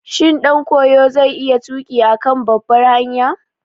Shin ɗankoyo zai iya tuƙi a kan babbar hanya?